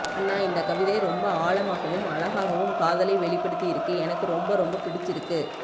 அண்ணா இந்த கவிதை ரொம்ப ஆழமாகவும் அழகாகவும் காதலை வெளிபடுதியிருக்கு எனக்கு ரொம்ப ரொம்ப பிடிச்சிருக்கு